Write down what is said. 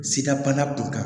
Sidabana kun kan